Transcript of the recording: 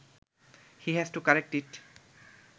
he has to correct it